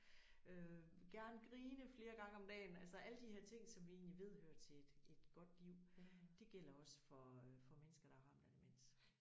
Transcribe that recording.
Øh gerne grine flere gange om dagen altså alle de her ting som vi egentlig ved hører til et et godt liv det gælder også for for mennesker der er ramt af demens